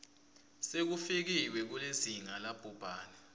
sekufikiwe kulizinga labhubhane